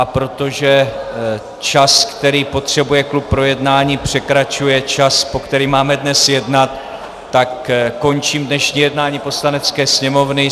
A protože čas, který potřebuje klub k projednání, překračuje čas, po který máme dnes jednat, tak končím dnešní jednání Poslanecké sněmovny.